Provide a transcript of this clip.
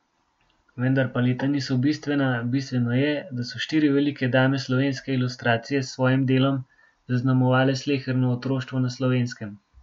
Vendar pa leta niso bistvena, bistveno je, da so štiri velike dame slovenske ilustracije s svojim delom zaznamovale sleherno otroštvo na Slovenskem.